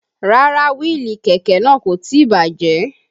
Rárá wíìlì kẹ̀kẹ́ náà kò tí bàjẹ́